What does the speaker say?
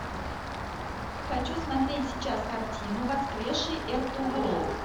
хочу смотреть сейчас картину воскресший эртугрул